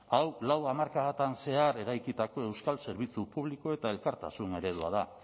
hau lau hamarkadatan zehar eraikitako euskal zerbitzu publiko eta elkartasun eredua da